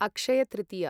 Akshaya Tritiya